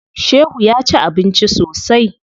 Shehu ya ci abinci sosai.